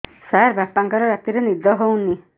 ସାର ବାପାଙ୍କର ରାତିରେ ନିଦ ହଉନି